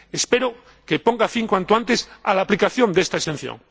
Espero que ponga fin, cuanto antes, a la aplicación de esta exención.